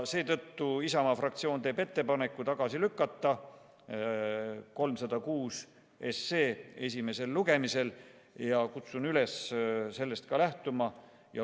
Seetõttu Isamaa fraktsioon teeb ettepaneku lükata 306 SE esimesel lugemisel tagasi ja kutsun teid üles sellest lähtuma.